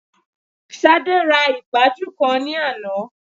Ṣadé ra ìpaju kan ní àná